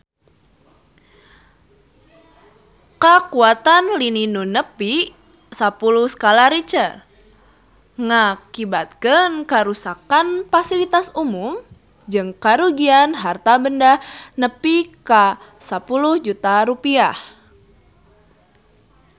Kakuatan lini nu nepi sapuluh skala Richter ngakibatkeun karuksakan pasilitas umum jeung karugian harta banda nepi ka 10 juta rupiah